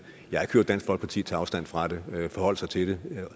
jeg har dansk folkeparti tage afstand fra det forholde sig til det